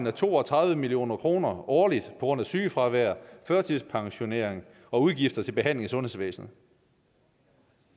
af to og tredive million kroner årligt grund af sygefravær førtidspensionering og udgifter til behandling i sundhedsvæsenet